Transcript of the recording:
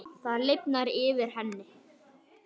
Það lifnar yfir henni.